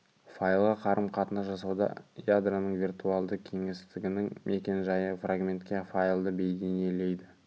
файлға қарым-қатынас жасауда ядроның виртуалды кеңістігінің мекен-жайы фрагментке файлды бейнелейді